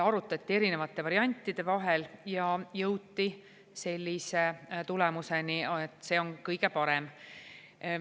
Arutati erinevaid variante ja jõuti sellise tulemuseni, et see on kõige parem.